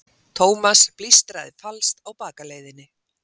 Thomas blístraði falskt á bakaleiðinni.